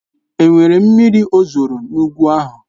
Enwere miri ozoro n'ugwu ahụ?